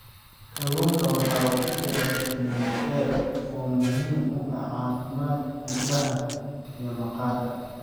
Kalluunka waxaa ku jira fitamiin A oo muhiim u ah caafimaadka indhaha iyo maqaarka.